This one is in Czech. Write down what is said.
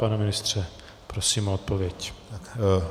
Pane ministře, prosím o odpověď.